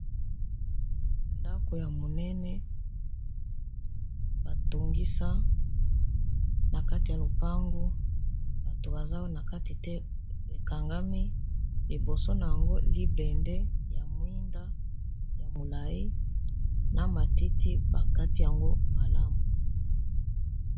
ndako ya monene batongisa na kati ya lopango bato baza na kati te ekangami liboso na yango libende ya mwinda ya molai na matiti bakati yango malamu